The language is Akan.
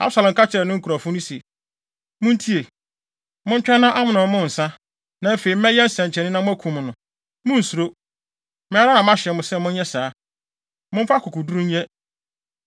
Absalom ka kyerɛɛ ne nkurɔfo no se, “Muntie! Montwɛn na Amnon mmow nsa, na afei mɛyɛ nsɛnkyerɛnne na moakum no. Munnsuro. Me ara na mahyɛ mo sɛ monyɛ saa. Momfa akokoduru nyɛ.”